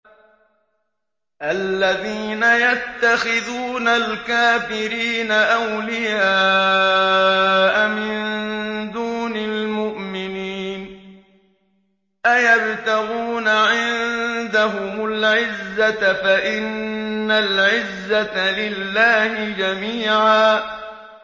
الَّذِينَ يَتَّخِذُونَ الْكَافِرِينَ أَوْلِيَاءَ مِن دُونِ الْمُؤْمِنِينَ ۚ أَيَبْتَغُونَ عِندَهُمُ الْعِزَّةَ فَإِنَّ الْعِزَّةَ لِلَّهِ جَمِيعًا